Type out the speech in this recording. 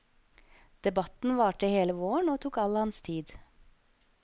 Debatten varte hele våren og tok all hans tid.